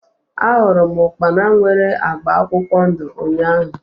A hụrụ m ukpana nwere agba akwụkwọ ndụ ụnyaahụ